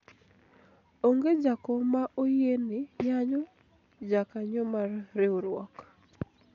onge jakom ma oyiene yanyo jakanyo mar riwruok